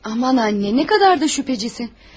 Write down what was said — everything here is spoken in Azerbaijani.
Aman, ana, nə qədər də şübhəçisən.